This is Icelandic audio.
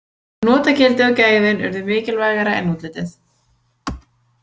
Notagildið og gæðin urðu mikilvægara en útlitið.